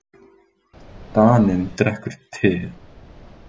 Daninn drekkur te.